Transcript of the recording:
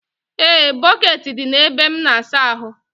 E, bọkeeti dị na ebe m n'asa ahụ.